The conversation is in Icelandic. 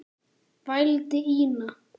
vældi Ína.